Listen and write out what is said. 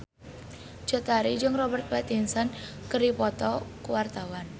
Cut Tari jeung Robert Pattinson keur dipoto ku wartawan